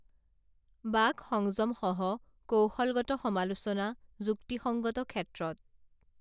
বাক সংযম সহ কৌশলগত সমালোচনা যুক্তিসংগত ক্ষেত্রত